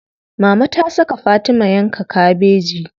Mama ta saka Fatima yanka kabeji.